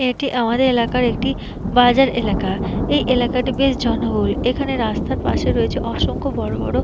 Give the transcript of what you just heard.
এটি আমাদের এলাকার একটি বাজার এলাকা এই এলাকা টি বেশ জনবহুল। এখানে রাস্তার পাশে রয়েছে অসংখ বড় বড়--